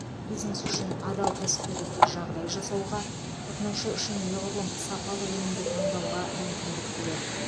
бизнес үшін адал кәсіпкерлікке жағдай жасауға тұтынушы үшін неғұрлым сапалы өнімді таңдауға мүмкіндік береді